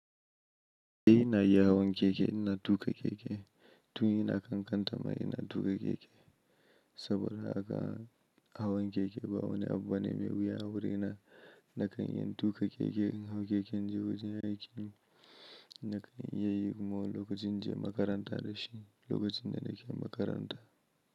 Eh ina iya hawan keke na tuƙa keke. Tun ina na kankan ta ma ina tu ka keke. Saboda haka hawan keke ba wane abbu bane mai wuya. Wuri na na kan iya tu ka keke in hau keke inje wajen aiki ne. Na kan yi kuma wani lokacin inje makaranta da shi. Lokacin da na ke makaranta.